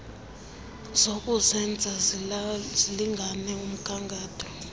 zokuzenza zilingane umgatho